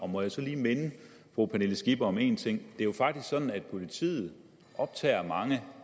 må jeg så lige minde fru pernille skipper om en ting det er jo faktisk sådan at politiet optager mange